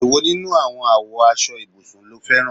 Èwo nínú àwọn àwo aṣọ ibùsùn ló fẹran?